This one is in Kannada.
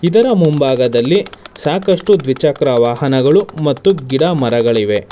ಇದರ ಮುಂಭಾಗದಲ್ಲಿ ಸಾಕಷ್ಟು ದ್ವಿಚಕ್ರ ವಾಹನಗಳು ಮತ್ತು ಗಿಡ ಮರಗಳಿವೆ.